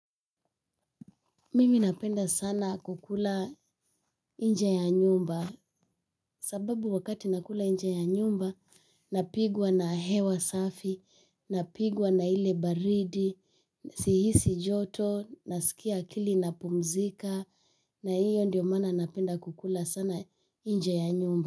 Mimi napenda sana kukula nje ya nyumba sababu wakati nakula nje ya nyumba napigwa na hewa safi, napigwa na ile baridi, sihisi joto, naskia akili inapumzika na iyo ndio maana napenda kukula sana nje ya nyumba.